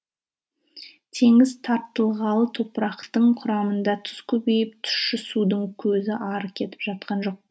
теңіз тартылғалы топырақтың құрамында тұз көбейіп тұщы судың көзі ары кетіп жатқан жоқ